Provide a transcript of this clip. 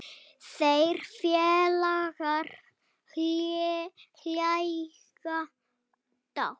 Þeir félagar hlæja dátt.